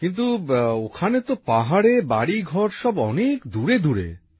কিন্তু ওখানে তো পাহাড়ে বাড়িঘর সব অনেক দূরেদূরে